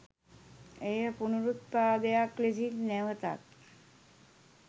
එය පුනරුත්පදයක් ලෙසින් නැවතත්